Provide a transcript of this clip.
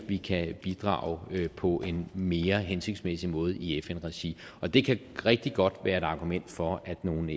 vi kan bidrage på en mere hensigtsmæssig måde i fn regi og det kan rigtig godt være et argument for at nogle